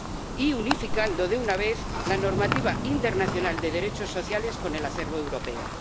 y unificando de una vez la normativa internacional de derechos sociales con el acervo europeo.